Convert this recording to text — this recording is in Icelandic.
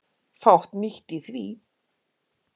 Fátt nýtt í því.